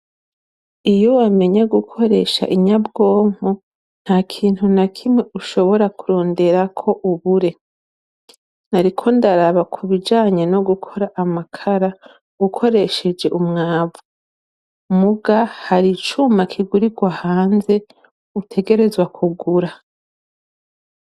iyo wamenya gukoresha inyabwonko ntakintu na kimwe ushobora kurondera ko ubure nari ko ndaraba ku bijanye no gukora amakara ukoresheje umwavu muga hari icuma kigurigwa hanze utegerezwa kugura